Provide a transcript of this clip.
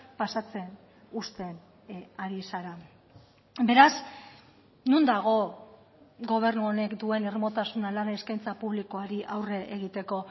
pasatzen uzten ari zara beraz non dago gobernu honek duen irmotasuna lan eskaintza publikoari aurre egiteko